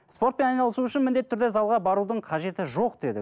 спортпен айналысу үшін міндетті түрде залға барудың қажеті жоқ деді